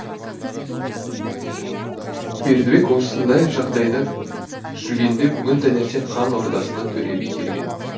бердібек осындай жағдайда жүргенде бүгін таңертең хан ордасына төре би келген